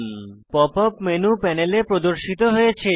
pop up menu প্যানেলে প্রদর্শিত হয়েছে